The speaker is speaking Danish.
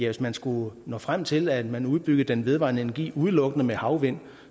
hvis man skulle nå frem til at man udbyggede den vedvarende energi udelukkende med havvind